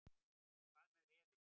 En hvað með refinn.